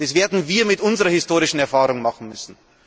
Das werden wir mit unserer historischen Erfahrung machen müssen.